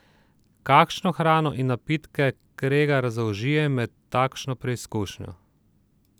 Kakšno hrano in napitke Kregar zaužije med takšno preizkušnjo?